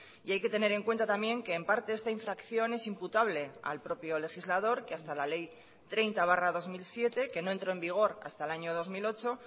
y hay que tener en cuenta también que en parte esta infracción es imputable al propio legislador que hasta la ley treinta barra dos mil siete que no entró en vigor hasta el año dos mil ocho